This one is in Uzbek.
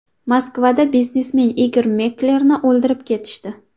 Moskvada biznesmen Igor Meklerni o‘ldirib ketishdi.